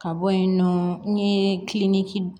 Ka bɔ yen nɔ n ye kiliniki